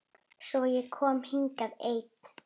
Svo ég kom hingað ein.